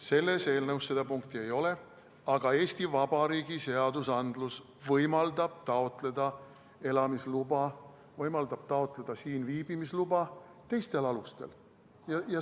Selles eelnõus seda punkti ei ole, aga Eesti Vabariigi seadused võimaldavad taotleda elamisluba, siin viibimise luba teistel alustel.